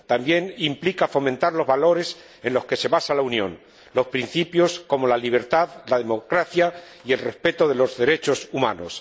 también implica fomentar los valores en los que se basa la Unión, los principios como la libertad, la democracia y el respeto de los derechos humanos.